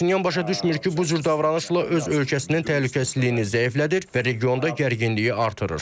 Paşinyan başa düşmür ki, bu cür davranışla öz ölkəsinin təhlükəsizliyini zəiflədir və regionda gərginliyi artırır.